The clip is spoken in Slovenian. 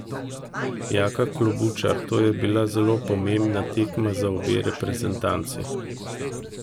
Jaka Klobučar: "To je bila zelo pomembna tekma za obe reprezentanci.